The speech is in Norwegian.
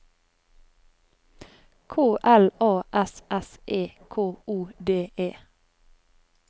K L A S S E K O D E